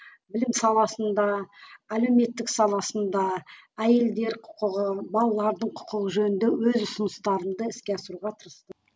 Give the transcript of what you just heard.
білім саласында әлеуметтік саласында әйелдер құқығы балалардың құқығы жөнінде өз ұсыныстарымды іске асыруға тырыстым